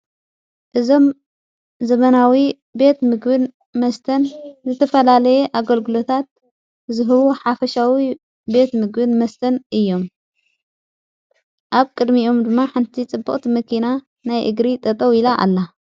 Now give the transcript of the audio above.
እዞም ዘመናዊ ቤት ምግብን መስተን ዝተፈላለየ ኣገልግሎታት ዝህቡ ሓፈሻዊ ቤት ምግብን መስተን እዩ ኣብ ቅድሚኡም ድማ ሓንቲ ጽቡቕቲ መኪና ናይ እግሪ ጠጠው ኢላ ኣላ።